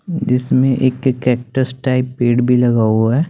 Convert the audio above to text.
जिसमें एक cactus type पेड़ भी लगा हुआ है।